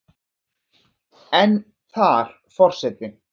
en þar Forseti